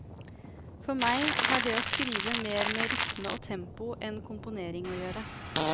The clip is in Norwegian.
For meg har det å skrive mer med rytme og tempo enn komponering å gjøre.